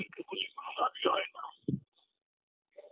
একে বলে কোন লাভই হয় না